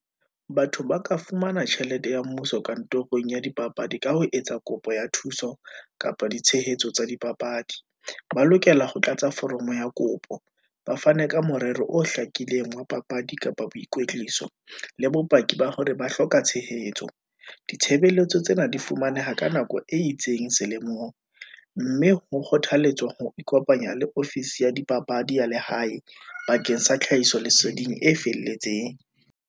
Batho ba ka fumana tjhelete ya mmuso kantorong ya dipapadi, ka ho etsa kopo ya thuso kapa ditshehetso tsa dipapadi, ba lokela ho tlatsa foromo ya kopo, ba fane ka morero o hlakileng wa papadi kapa boikwetliso, le bopaki ba hore ba hloka tshehetso. Ditshebeletso tsena di fumaneha ka nako e itseng selemong, mme ho kgothalletswa ho ikopanya le ofisi ya dipapadi ya lehae, bakeng sa tlhahiso leseding e felletseng.